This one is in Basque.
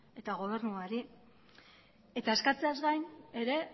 eta gobernuari eta eskatzeaz gain ere